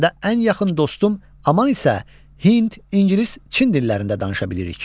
ən yaxın dostum Aman isə Hind, İngilis, Çin dillərində danışa bilirik.